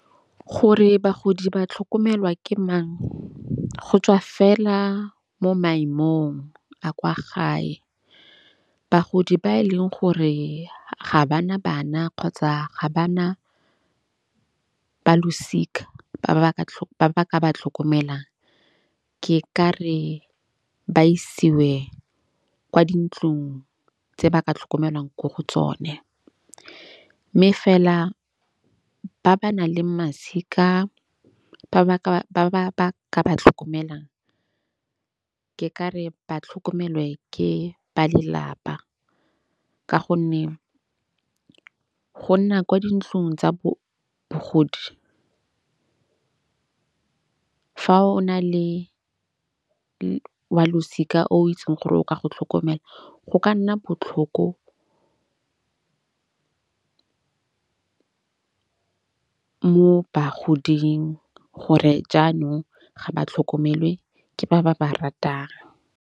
Gore bagodi ba tlhokomelwa ke mang go tswa fela mo maemong a kwa gae. Bagodi ba e leng gore ga bana bana kgotsa ga ba na balosika ba ba ba ba ka ba tlhokomelang, ke ka re ba isiwe kwa dintlong tse ba ka tlhokomelwang ko go tsone. Mme fela ba ba nang le masika ba ba ka ba ba ka ba tlhokomelang, ke ka re ba tlhokomelwe ke ba lelapa. Ka gonne go nna kwa dintlong tsa bogodi fa o na le wa losika o itseng gore o ka go tlhokomela, go ka nna botlhoko moo bagoding gore jaanong ga ba tlhokomelwe ke ba ba ba ratang.